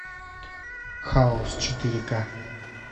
хаос четыре ка